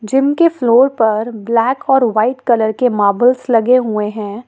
Gym के floor पर black और वाइट कलर के मार्बल्स लगे हुए हैं।